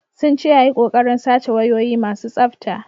Sun ce ya yi kokarin sace wayoyi masu tsafta.